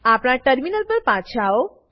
આપણા ટર્મિનલ પર પાછા આઓ